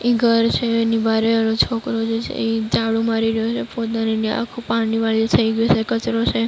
એક ઘર છે એની બારે ઓલો છોકરો જે છે ઈ ઝાડુ મારી રહ્યો છે. પોતાની આખું પાણી વાળી થઇ ગયું છે કચરો છે.